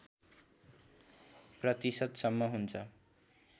प्रतिशतसम्म हुन्छ